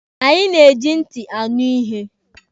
Anyị na-eji ntị anọ ihe.